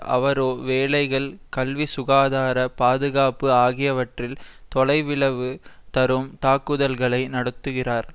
அவரோ வேலைகள் கல்வி சுகாதார பாதுகாப்பு ஆகியவற்றில் தொலைவிளவு தரும் தாக்குதல்களை நடத்துகிறார்